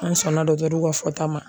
An sɔnna ka fɔta ma.